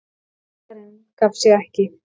Bakarinn gaf sig ekki.